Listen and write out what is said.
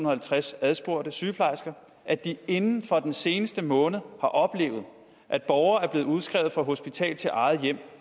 og halvtreds adspurgte sygeplejersker at de inden for den seneste måned har oplevet at borgere er blevet udskrevet fra hospital til eget hjem